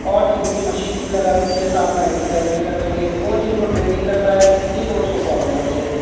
और जिम की मशीन्स भी लगा रखी है साथ में एक्सर्साइज भी कर सके कोच इनको ट्रेनिंग करता है ये कोच को फॉलो करते हैं।